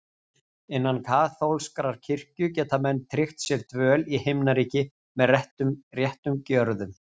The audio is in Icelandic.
Innan kaþólskrar kirkju geta menn tryggt sér dvöl í Himnaríki með réttum gjörðum.